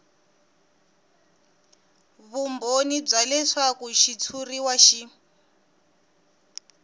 vumbhoni bya leswaku xitshuriwa xi